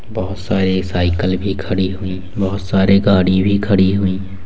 बहुत सारी साइकिल भी खड़ी हुई है बहुत सारी गाड़ी भी खड़ी हुई है।